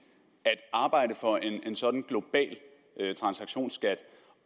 at en sådan global transaktionsskat